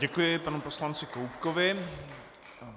Děkuji panu poslanci Koubkovi.